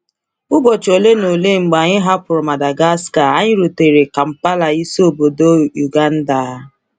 Ụbọchị ole na ole mgbe anyị hapụrụ Madagascar, anyị rutere Kampala, isi obodo Uganda.